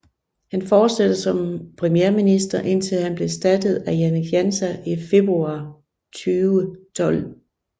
Han fortsatte som premierminister indtil han blev erstattet af Janez Janša i februar 2012